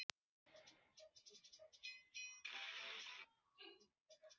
Þær voru allar vel lýstar og skarpar.